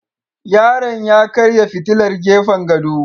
Yaron ya karya fitilar gefen gado